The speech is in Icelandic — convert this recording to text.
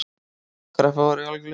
Kreppa var í algleymingi.